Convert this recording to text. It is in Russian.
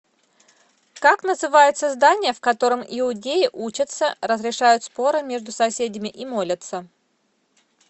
как называется здание в котором иудеи учатся разрешают споры между соседями и молятся